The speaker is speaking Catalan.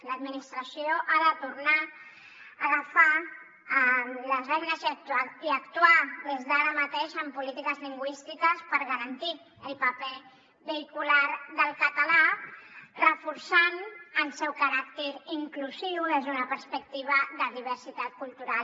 l’administració ha de tornar a agafar les regnes i actuar des d’ara mateix amb polítiques lingüístiques per garantir el paper vehicular del català reforçant el seu caràcter inclusiu des d’una perspectiva de diversitat cultural